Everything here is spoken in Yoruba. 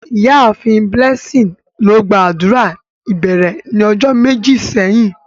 Iyaafin Blessing lo gba adura ibẹrẹ ni ọjọ meji sẹhin.